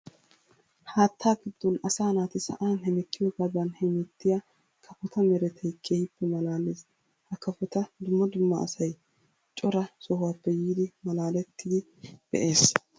Haatta giduwan asaa naati sa'an hemettiyogadan hemettiya kafotta merettay keehippe malaales. Ha kafotta dumma dumma asay cora sohuwappe yiiddi malaalettiddi be'ees.